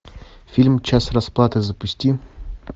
фильм час расплаты запусти